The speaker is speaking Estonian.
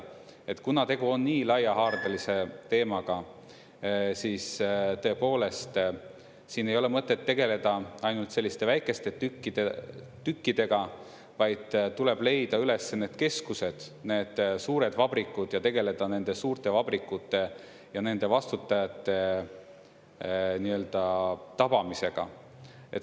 Kuna tegu on nii laiahaardelise teemaga, siis ei ole mõtet tegeleda ainult selliste väikeste tükkidega, vaid tuleb leida üles need keskused, need suured vabrikud ja tegeleda nende suurte vabrikute ja nende vastutajate nii-öelda tabamisega.